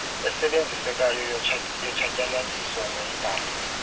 esebenzisekayo yotshatyalaliso mayibhalwe